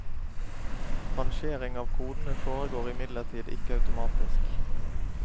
Rangering av kodene foregår imidlertid ikke automatisk.